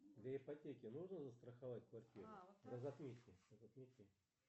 для ипотеке нужно застраховать квартиру